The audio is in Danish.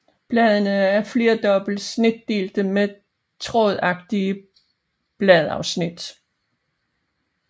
Bladene er flerdobbelt snitdelte med trådagtige bladafsnit